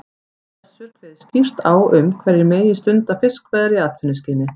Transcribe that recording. Með þessu er kveðið skýrt á um hverjir megi stunda fiskveiðar í atvinnuskyni.